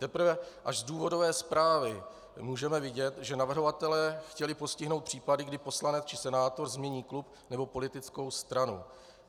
Teprve až z důvodové zprávy můžeme vidět, že navrhovatelé chtěli postihnout případy, kdy poslanec či senátor změní klub nebo politickou stranu.